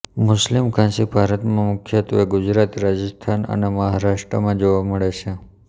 મુસ્લિમ ઘાંચી ભારતમાં મુખ્યત્વે ગુજરાત રાજસ્થાન અને મહારાષ્ટ્રમાં જોવા મળે છે